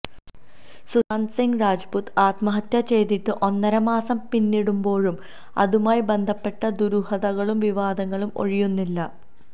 സുശാന്ത് സിങ് രജ്പുത്ത് ആത്മഹത്യ ചെയ്തിട്ട് ഒന്നരമാസം പിന്നിടുമ്പോഴും അതുമായി ബന്ധപ്പെട്ട ദുരൂഹതകളും വിവാദങ്ങളും ഒഴിയുന്നില്ല